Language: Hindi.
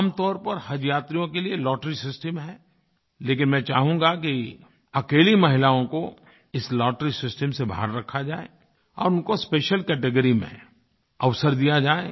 आमतौर पर हजयात्रियों के लिए लॉटरी सिस्टम है लेकिन मैं चाहूँगा कि अकेली महिलाओं को इस लॉटरी सिस्टम से बाहर रखा जाए और उनको स्पेशियल कैटेगरी में अवसर दिया जाए